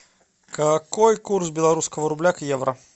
какой курс белорусского рубля к евро